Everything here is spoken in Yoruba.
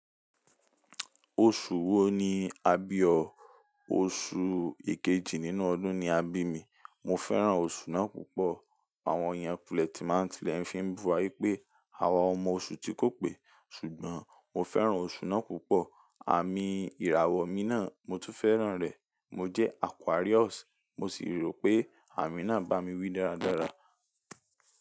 Oṣù wo ni a bí o? Oṣù ikejì nínú ọdún ni a bí mi. Mo fẹ́ràn oṣù ná púpọ̀. Àwọn èèyàn wule máa ti lè fi bu wa wípé àwa ọmọ oṣù ti kó pè, ṣùgbọ́n mo fẹ́ràn oṣù ná púpọ̀. Àmi ìràwọ̀ mi náà mo tún fẹ́ràn rẹ̀. Mo jẹ́ Aquarius, mo sì rò pé àmì náà bá mi wí dáradára.